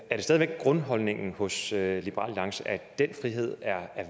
er det stadig væk grundholdningen hos liberal alliance at den frihed er